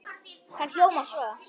Það hljómar svo